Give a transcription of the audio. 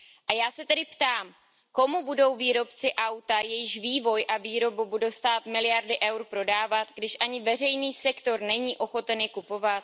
A já se tedy ptám Komu budou výrobci auta, jejichž vývoj a výroba budou stát miliardy eur, prodávat, když ani veřejný sektor není ochoten je kupovat?